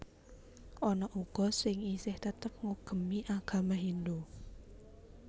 Ana uga sing isih tetep ngugemi agama Hindhu